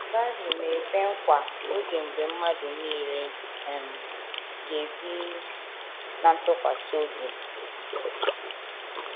Bible na - ekwe nkwa oge mgbe mmadụ nile um ‘ ga - ebi um ná ntụkwasị obi ’